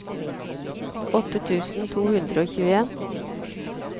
åtte tusen to hundre og tjueen